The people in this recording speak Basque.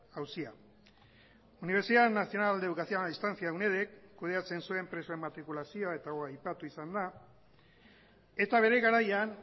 auzia universidad nacional de educación a distancia unedk kudeatzen zuen presoen matrikulazioa eta hau aipatu izan da eta bere garaian